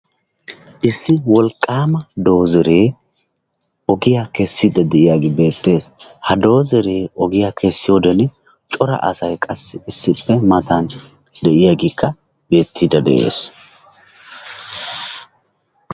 issi wolqqaama dozzeree ogiyaa keessidi de'iyaagee beettees. ha doozzeree ogiyaa keessidi de'iyoode cora asay qassi issippe matan de'iyaagee beettiidi de'ees.